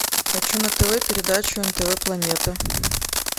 хочу на тв передачу нтв планета